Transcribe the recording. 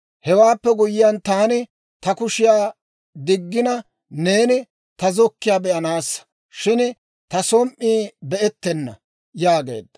Hewaappe guyyiyaan taani ta kushiyaa diggina, neeni ta zokkiiyaa be'anaassa; shin ta som"i be"ettena» yaageedda.